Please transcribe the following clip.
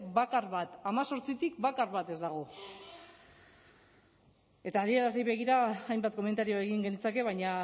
bakar bat hemezortzitik bakar bat ez dago eta adierazleei begira hainbat komentario egin genitzake baina